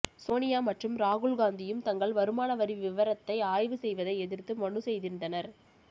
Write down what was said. சோனியா மற்றும் ராகுல் காந்தியும் தங்கள் வருமான வரி விவரத்தை ஆய்வு செய்வதை எதிர்த்து மனு செய்திருந்தனர்